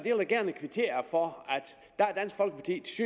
jeg vil gerne kvittere for